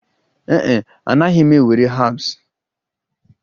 Ee e, anaghị m ewere herbs